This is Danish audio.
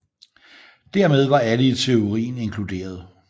Dermed var alle i teorien inkluderet